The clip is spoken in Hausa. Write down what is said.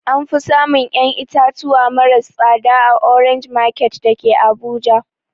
Anfi samun ƴan itatuwa maras tsada a orange market dake abuja